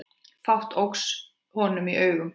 Fátt óx honum í augum.